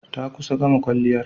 Ta kusa gama kwalliyar.